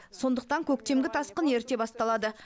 сондықтан көктемгі тасқын ерте басталады